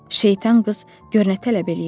Şeytan qız gör nə tələb eləyirdi.